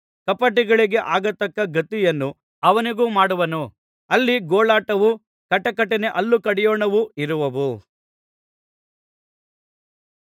ಕಪಟಿಗಳಿಗೆ ಆಗತಕ್ಕ ಗತಿಯನ್ನು ಅವನಿಗೂ ಮಾಡುವನು ಅಲ್ಲಿ ಗೋಳಾಟವೂ ಕಟಕಟನೆ ಹಲ್ಲು ಕಡಿಯೋಣವೂ ಇರುವವು